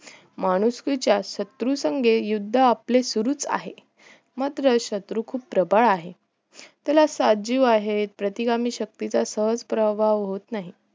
माणुसकीच्या शत्रू संगे युद्ध आपले सुरूच आहे मात्र शत्रू खुप प्रबळ आहे त्याला सातजीव आहे प्रतिगामी शक्तीचा सहज प्रवाह होत नाही